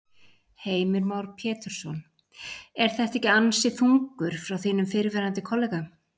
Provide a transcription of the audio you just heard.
Heimir Már Pétursson: Er þetta ekki ansi þungur frá þínum fyrrverandi kollega?